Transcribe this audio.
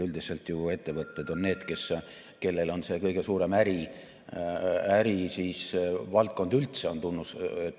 Üldiselt ju ettevõtted on need, kellele on see kõige suurem ärivaldkond üldse.